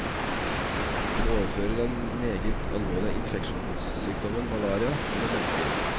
Den overfører den meget alvorlige infeksjonssykdommen malaria mellom mennesker.